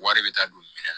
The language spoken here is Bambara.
Wari bɛ taa don minɛn na